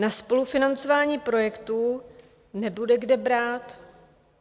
Na spolufinancování projektů nebude kde brát.